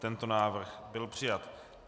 Tento návrh byl přijat.